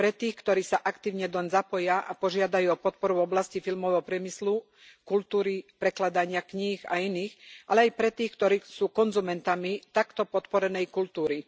Pre tých, ktorí sa aktívne doň zapoja a požiadajú o podporu v oblasti filmového priemyslu, kultúry, prekladania kníh, a iných, ale je aj pre tých, ktorí sú konzumentami takto podporenej kultúry.